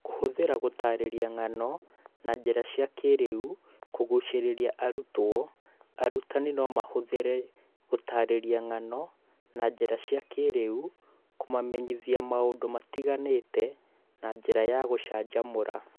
Kũhũthĩra gũtarĩria ng'ano na njĩra cia kĩĩrĩu kũgucĩrĩria arutwo Arutani no mahũthĩre gũtarĩria ng'ano na njĩra cia kĩĩrĩu kũmamenyithia maũndũ matiganĩte na njĩra ya gũcanjamũra